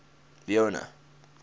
leone